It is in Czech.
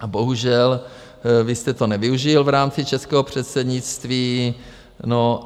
A bohužel vy jste to nevyužil v rámci českého předsednictví.